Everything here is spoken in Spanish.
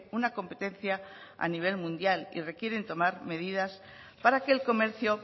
una competencia a nivel mundial y requieren tomar medidas para que el comercio